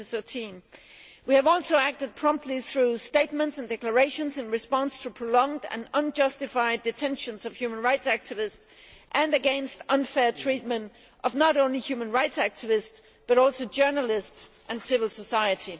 2013. We have also acted promptly through statements and declarations in response to prolonged and unjustified detentions of human rights activists and against unfair treatment of not only human rights activists, but also journalists and civil society.